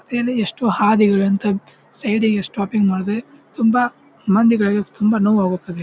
ತೇಲೇ ಎಷ್ಟು ಹಾದಿಗಳು ಅಂತ ಸೈಡ್ಗೆ ಸ್ಟಾಪ್ಪಿಂಗ್ ಮಾಡ್ದೆ ತುಂಬ ಮಂದಿಗಳಿಗೆ ತುಂಬ ನೋವು ಆಗೊಗ್ತದೆ.